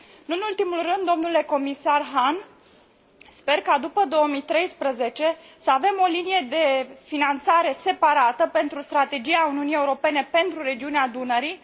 Nu în ultimul rând, dle comisar Hahn, sper ca, după 2013, să avem o linie de finanțare separată pentru Strategia Uniunii Europene pentru regiunea Dunării.